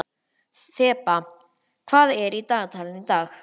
Þeba, hvað er í dagatalinu í dag?